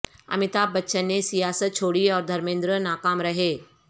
امیتبھ بچن نے سیاست چھوڑی اور دھرمیندر ناکام رہے